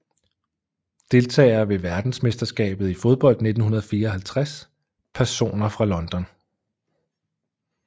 Deltagere ved verdensmesterskabet i fodbold 1954 Personer fra London